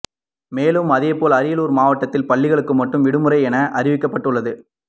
மேலும் அதேபோல் அரியலூர் மாவட்டத்தில் பள்ளிகளுக்கு மட்டும் விடுமுறை என அறிவிக்கப்பட்டுள்ளது